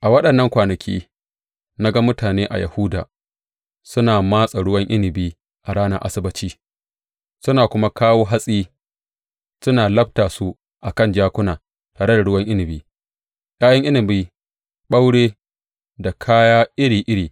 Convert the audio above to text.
A waɗannan kwanaki, na ga mutane a Yahuda suna matse ruwan inabi a ranar Asabbaci suna kuma kawo hatsi suna labta su a kan jakuna, tare da ruwan inabi, ’ya’yan inabi, ɓaure da kaya iri iri.